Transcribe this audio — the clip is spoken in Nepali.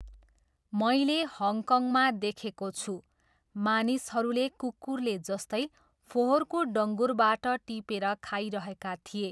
मैले हङकङमा देखेको छु, मानिसहरूले कुकुरले जस्तै फोहोरको डङ्गुरबाट टिपेर खाइरहेका थिए।